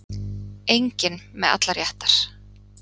Enginn með allar réttar